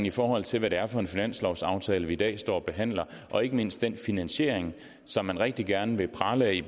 i forhold til hvad det er for en finanslovsaftale vi i dag står og behandler og ikke mindst den finansiering som man rigtig gerne vil prale af i